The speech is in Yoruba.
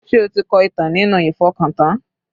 Sé o ti kọ ìtàn nínú ìfọkàntán?